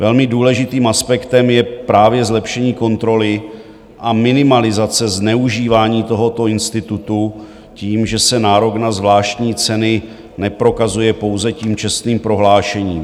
Velmi důležitým aspektem je právě zlepšení kontroly a minimalizace zneužívání tohoto institutu tím, že se nárok na zvláštní ceny neprokazuje pouze tím čestným prohlášením.